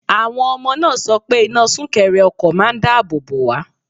Àwọn ọmọ náà sọ pé iná súnkẹrẹ ọkọ̀ máà ń dáàbò bò wá.